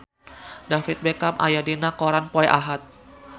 David Beckham aya dina koran poe Ahad